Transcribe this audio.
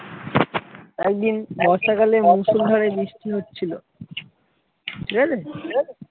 একদিন বর্ষাকালে মুসুলহারে বৃষ্টি হচ্ছিলো